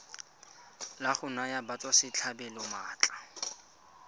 la go naya batswasetlhabelo maatla